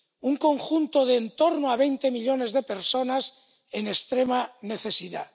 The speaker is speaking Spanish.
Un conjunto de en torno a veinte millones de personas en extrema necesidad.